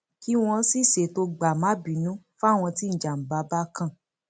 kí wọn sì ṣètò gbàmábínú fáwọn tí ìjàmbá bá kan